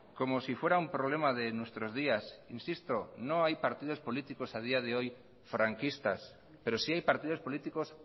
como si fuera un problema de nuestros días insisto no hay partidos políticos a día de hoy franquistas pero sí hay partidos políticos